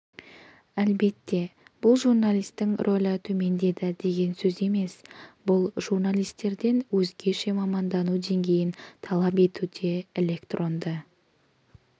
әлбетте бұл журналистің рөлі төмендеді деген сөз емес бұл журналистерден өзгеше мамандану деңгейін талап етуде электронды